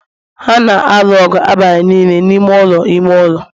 ha na-alụ ọgụ abalị niile n'ime ụlọ ime ụlọ